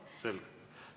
Selge.